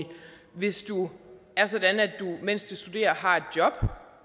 hvis du mens du studerer har et job